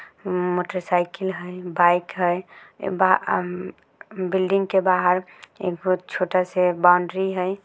Motorcycle है bike है आ-- बिल्डिंग के बाहर एक बहुत छोटा सा बाउंड्री है।